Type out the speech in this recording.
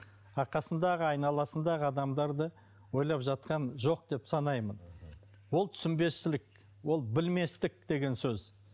а қасындағы айналасындағы адамдарды ойлап жатқан жоқ деп санаймын ол түсінбестік білместік деген сөз